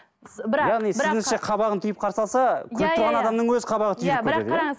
яғни сіздіңше қабағын түйіп қарсы алса күліп тұрған адамның өзі қабағы түйіп кетеді иә